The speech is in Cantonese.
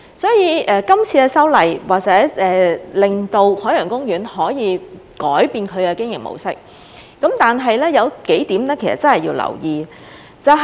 所以，這次修例或者可以令海洋公園改變它的經營模式，但是，有幾點必須留意。